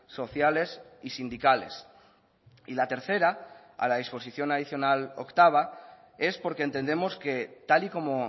sociales y sindicales y la tercera a la disposición adicional octava es porque entendemos que tal y como